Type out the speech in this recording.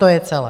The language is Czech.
To je celé.